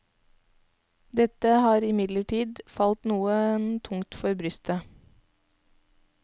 Dette har imidlertid falt noen tungt for brystet.